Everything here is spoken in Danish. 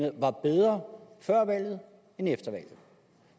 var bedre før valget end